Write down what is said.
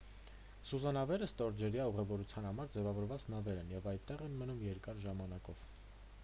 սուզանավերը ստորջրյա ուղևորության համար ձևավորված նավեր են և այնտեղ են մնում երկար ժամանակով